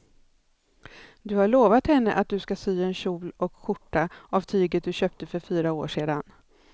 Du har lovat henne att du ska sy en kjol och skjorta av tyget du köpte för fyra år sedan.